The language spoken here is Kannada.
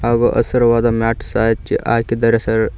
ಹಾಗು ಹಸಿರುವಾದ ಮಾಟ್ ಸಹ ಹಚ್ಚಿ ಹಾಕಿದ್ದಾರೆ ಸರ್.